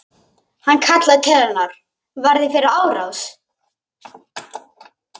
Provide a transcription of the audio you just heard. Hann kallar til hennar: Varð ég fyrir árás?